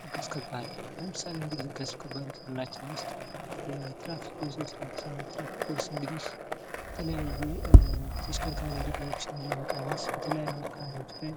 ህግ አስከባሪ ለምሳሌ እንግዲህ ህግ አስከባሪ ከምንላቸው ውስጥ የትራፊክ ፖሊሶች ናቸው። የትራፊክ ፖሊስ እንግዲህ የተለያዩ ተሽከርካሪ አደጋዎች ለመቀነስ በተለያዩ አካባቢዎች ላይ